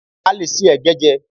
A lè se ẹ̀gẹ́ jẹ́